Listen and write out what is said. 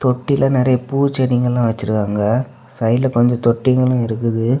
தொட்டில நெறய பூ செடிகள்லாம் வச்சிருக்காங்க. சைடுல கொஞ்ச தொட்டிகளும் இருக்குது.